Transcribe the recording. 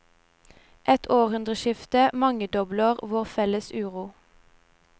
Et århundreskifte mangedobler vår felles uro.